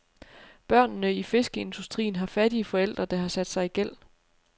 Børnene i fiskeindustrien har fattige forældre, der har sat sig i gæld.